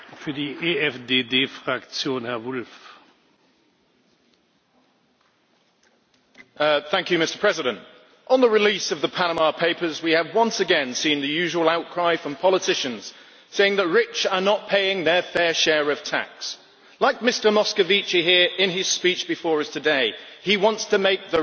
Mr President, on the release of the Panama Papers, we have once again seen the usual outcry from politicians saying the rich are not paying their fair share of tax like Mr Moscovici here in his speech before us today he wants to make the rich pay their fair share.